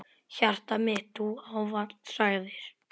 Hjartað mitt Þú ávallt sagðir.